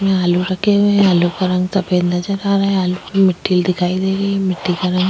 यहाँ आलू रखे हुए है आलू का रंग सफ़ेद नज़र आ रहा है आलू पे मिट्टी दिखाई दे रही है मिट्टी का रंग--